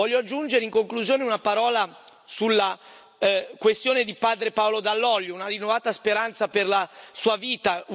Voglio aggiungere, in conclusione, una parola sulla questione di padre Paolo Dall'Oglio, una rinnovata speranza per la sua vita.